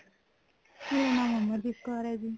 ਮੇਰਾ ਨਾਮ ਅਮਰਦੀਪ ਕੋਰ ਹੈ ਜੀ